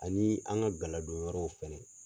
Ani an ka galadon yɔrɔw fɛnɛ.